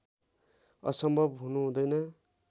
असम्भव हुनु हुँदैन